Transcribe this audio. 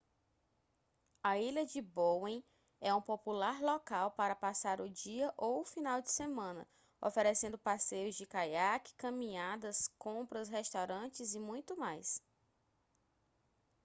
a ilha de bowen é um popular local para passar o dia ou o final de semana oferecendo passeios de caiaque caminhadas compras restaurantes e muito mais